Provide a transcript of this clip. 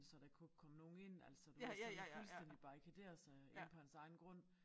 Så der ikke kunne komme nogen ind altså du ved sådan fuldstændig barrikadere sig inde på hans egen grund